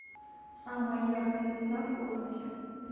самая яркая звезда в космосе